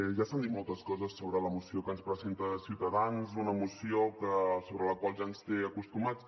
ja s’han dit moltes coses sobre la moció que ens presenta ciutadans una moció a la qual ja ens té acostumats